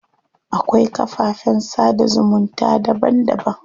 Akwai kafafen sada zumunta daban daban.